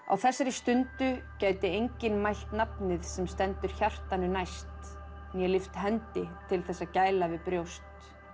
á þessari stundu gæti enginn mælt nafnið sem stendur hjartanu næst né lyft hendi til þess að gæla við brjóst